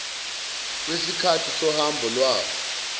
wesikhathi sohambo lwabo